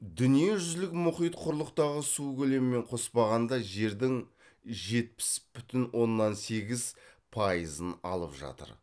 дүниежүзілік мұхит құрлықтағы су көлемімен қоспағанда жердің жетпіс бүтін оннан сегіз пайызын алып жатыр